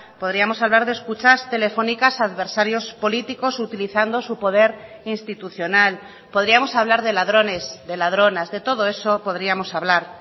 podríamos hablar de escuchas telefónicas a adversarios políticos utilizando su poder institucional podríamos hablar de ladrones de ladronas de todo eso podríamos hablar